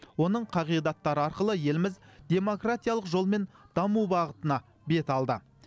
оның қағидаттары арқылы еліміз демократиялық жолмен даму бағытына бет алды